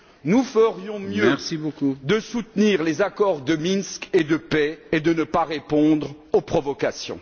Nous ferions mieux de soutenir les accords de Minsk et de paix et de ne pas répondre aux provocations.